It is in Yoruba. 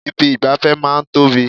Ibi ìgbafẹ́ máa ń tóbi.